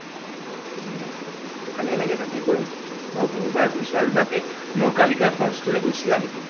অ ভালে লাগিল তাতে গৈ। মই বহুবাৰ গৈছোঁ আৰু তাতে নকলিকা falls টোলৈ গৈছিলা নেকি?